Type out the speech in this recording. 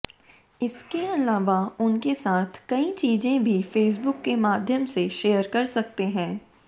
इसके अलवा उनके साथ कई चीजें भी फेसबुक के माध्यम से शेयर कर सकते हैं